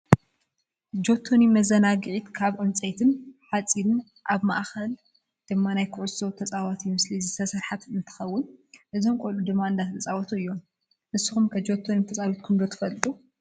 ጆቶኒ መዛናግዒት ካብ ዕንፀይትን ሓፂንን ኣብ ማአከላ ድማ ናይ ኩዕሶ ተፃወቲ ምስሊ ዝተሰረሓት እንትከውን እዞም ቆሉዑ ድማ እንዳተፃወቱ እዮም። ንስኩም ከ ጆቶኒ ተፃዊትኩም ዶ ትፈልጡ ?